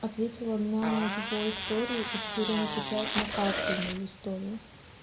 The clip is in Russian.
ответила на его историю и теперь он отвечает на каждую мою историю